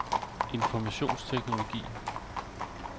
informationsteknologi